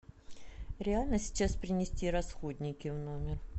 реально сейчас принести расходники в номер